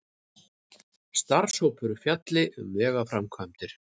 Starfshópur fjalli um vegaframkvæmdir